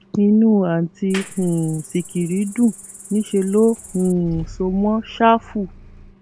inú àùntí um sìkìrì dùn níṣẹ ló um so mọ ṣáfù